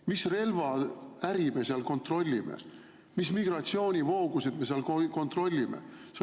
Mis relvaäri me seal kontrollime, mis migratsioonivoogusid me seal kontrollime?